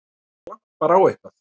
Það glampar á eitthvað!